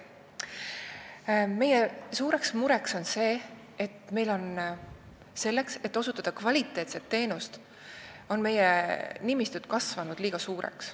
Meie suur mure on see, et me ei saa osutada kvaliteetset teenust, kuna meie nimistud on kasvanud liiga suureks.